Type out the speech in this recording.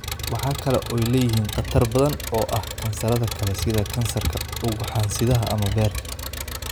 Waxa kale oo ay leeyihiin khatar badan oo ah kansarrada kale, sida kansarka ugxansidaha ama beerka.